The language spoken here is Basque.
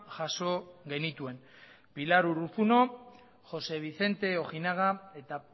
jaso genituen pilar urruzuno jose vicente ojinaga eta